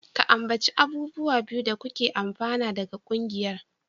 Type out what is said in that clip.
Ka ambaci abubuwa biyu da kuke amfana daga ƙungiyar.